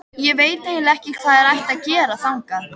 Ég veit eiginlega ekki hvað þér ættuð að gera þangað.